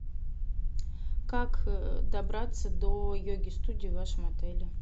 как добраться до йоги студии в вашем отеле